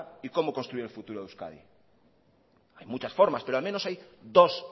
y como construir el futuro de euskadi hay muchas formas pero al menos hay dos